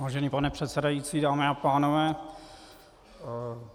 Vážený pane předsedající, dámy a pánové.